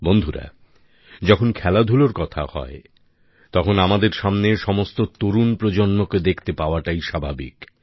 বন্ধুরা যখন খেলাধুলার কথা হয় তখন আমাদের সামনে সমস্ত তরুণ প্রজন্মকে দেখতে পাওয়াটাই স্বাভাবিক